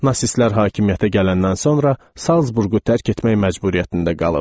Nasistlər hakimiyyətə gələndən sonra Zalsburqu tərk etmək məcburiyyətində qalıb.